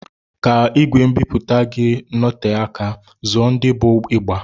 Ka ìgwè mbipụta gị noté ka, zụọ ndị bụ ịgba.